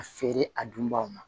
A feere a dunbaw ma